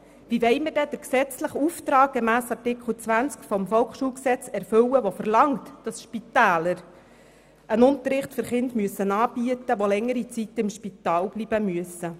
Wie wollen wir dann den gesetzlichen Auftrag gemäss Artikel 20 des Volksschulgesetzes (VSG) erfüllen, der verlangt, dass Spitäler einen Unterricht für Kinder anbieten müssen, die während längerer Zeit im Spital bleiben müssen?